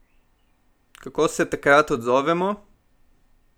Kako se takrat odzovemo?